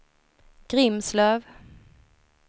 Grimslöv